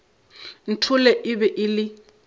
nthole e be e le